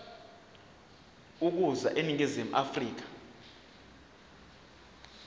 ukuza eningizimu afrika